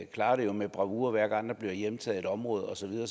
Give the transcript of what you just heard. klarer det jo med bravur hver gang der bliver hjemtaget et område og så videre